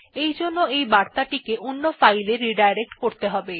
তারজন্য সেগুলি অন্য ফাইল এ রিডাইরেক্ট করতে হবে